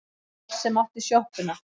Sá sem átti sjoppuna.